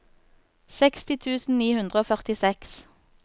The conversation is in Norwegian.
seksti tusen ni hundre og førtiseks